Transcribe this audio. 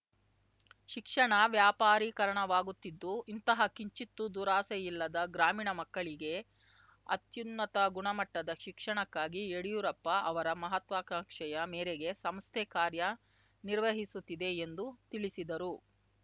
ಶಿಕ್ಷಣ ವ್ಯಾಪಾರೀಕರಣವಾಗುತ್ತಿದ್ದು ಇಂತಹ ಕಿಂಚಿತ್ತೂ ದುರಾಸೆಯಿಲ್ಲದ ಗ್ರಾಮೀಣ ಮಕ್ಕಳಿಗೆ ಅತ್ಯುನ್ನತ ಗುಣಮಟ್ಟದ ಶಿಕ್ಷಣಕ್ಕಾಗಿ ಯಡಿಯೂರಪ್ಪ ಅವರ ಮಹಾತ್ವಾಕಾಂಕ್ಷೆಯ ಮೇರೆಗೆ ಸಂಸ್ಥೆ ಕಾರ್ಯ ನಿರ್ವಹಿಸುತ್ತಿದೆ ಎಂದು ತಿಳಿಸಿದರು